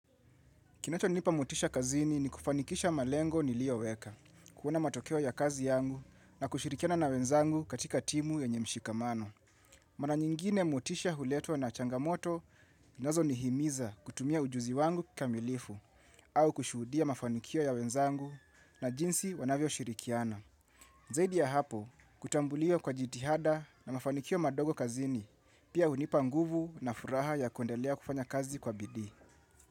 Kinachonipa motisha kazini ni kufanikisha malengo nilioweka, kuona matokeo ya kazi yangu na kushirikiana na wenzangu katika timu yenye mshikamano. Mara nyingine motisha huletwa na changamoto zinazonihimiza kutumia ujuzi wangu kikamilifu au kushuhudia mafanikio ya wenzangu na jinsi wanavyoshirikiana. Zaidi ya hapo, kutambulia kwa jitihada na mafanikio madogo kazini, pia hunipa nguvu na furaha ya kuendelea kufanya kazi kwa bidii.